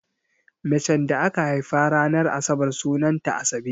Macen da aka haifa ranar asabar sunanta Asabe.